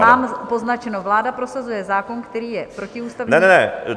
Mám poznačeno: Vláda prosazuje zákon, který je protiústavní...